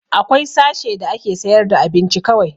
Akwai sashe da ake sayar da abinci kawai